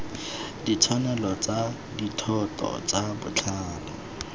ditshwanelo tsa dithoto tsa botlhale